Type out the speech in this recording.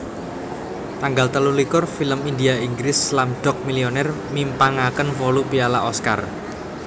Tanggal telulikur Film India Inggris Slumdog Millionaire mimpangaken wolu piala Oscar